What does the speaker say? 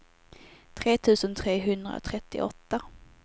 tre tusen trehundratrettioåtta